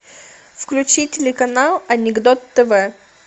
включи телеканал анекдот тв